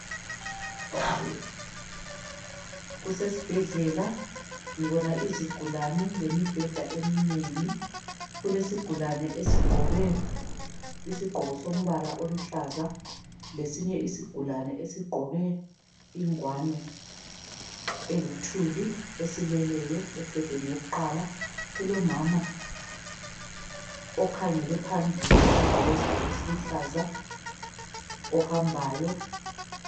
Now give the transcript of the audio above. Kusesibhedlela, ngibona izigulane lemibheda eminengi. Kulesigulane esigqoke isigqoko sombala oluhlaza lesinye isigulane esigqoke ingwane eluthuli esileleyo embhedeni wakuqala. Kulomama okhangele phambili ogqoke isigqoko esiluhlaza ohambayo.